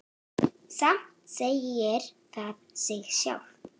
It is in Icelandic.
Samt segir það sig sjálft.